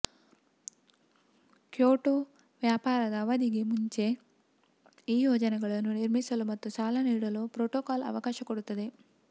Kyoto ವ್ಯಾಪಾರದ ಅವಧಿಗೆ ಮುಂಚೆ ಈ ಯೋಜನೆಗಳನ್ನು ನಿರ್ಮಿಸಲು ಮತ್ತು ಸಾಲ ನೀಡಲು ಪ್ರೊಟೊಕಾಲ್ ಅವಕಾಶ ಕೊಡುತ್ತದೆ